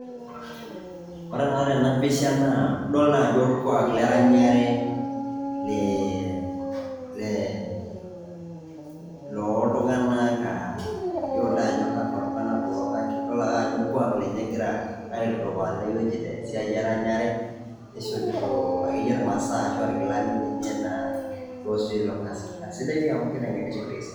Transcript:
Ore taa tena pisha idol naa Ajo orkwak le ranyare le le looltung'anak mayiolo taa Ajo kakwa kulo tung'anak kulo kake idol ake Ajo orkwak lenye egira aitudupaa tene wueji te siai eranyare. Nishopito ake yie imasaa eranyare ashua irkilani lenye naa loise ilo Kasi. Naa sidai dii amu kitengenisho.